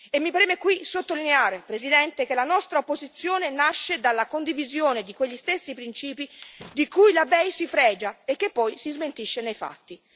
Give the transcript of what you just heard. Mi preme qui sottolineare, Presidente, che la nostra posizione nasce dalla condivisione di quegli stessi principi di cui la BEI si fregia e che poi smentisce nei fatti.